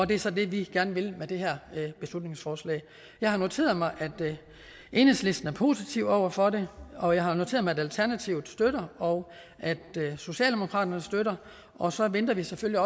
det er så det vi gerne vil med det her beslutningsforslag jeg har noteret mig at enhedslisten er positive over for det og jeg har noteret mig at alternativet støtter og at socialdemokratiet støtter og så venter vi selvfølgelig